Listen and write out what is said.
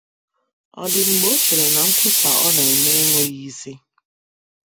Ọ̀ dị mgbe o chere na nkwusa ọ na - eme enweghị isi?